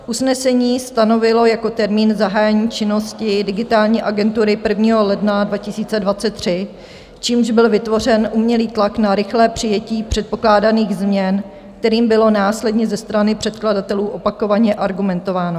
Usnesení stanovilo jako termín zahájení činnosti Digitální agentury 1. ledna 2023, čímž byl vytvořen umělý tlak na rychlé přijetí předpokládaných změn, kterým bylo následně ze strany předkladatelů opakovaně argumentováno.